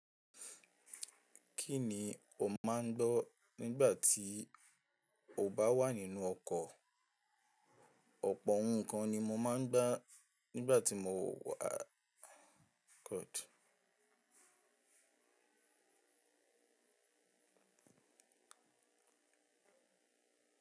Kí ni o máa ń gbọ́ nígbà tí o bá wà nínú ọkọ̀? Ọ̀pọ̀ ohun kan ni mo máa ń gbọ́ nígbà tí mo wà ọkọ̀.